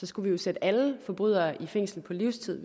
skulle sætte alle forbrydere i fængsel for livstid